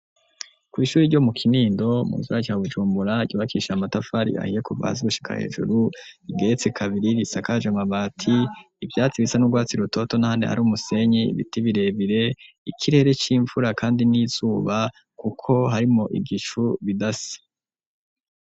Kw'ishure ryo mu Kinindo mu gisagara ca Bujumbura ryubakishije amatafari ahiye kuva hasi gushika hejuru, igeretse kabiri risakaje amabati, ivyatsi bisa n'urwatsi rutoto n'ahandi ari umusenyi, biti birebire ikirere c'imvura kandi n'izuba kuko harimwo igicu bidasa.